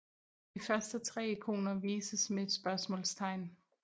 De første 3 ikoner vises med et spørgsmålstegn